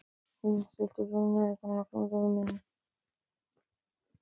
Hlynur, stilltu niðurteljara á áttatíu og fimm mínútur.